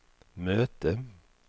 möte